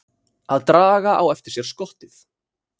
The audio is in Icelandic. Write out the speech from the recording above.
Að draga á eftir sér skottið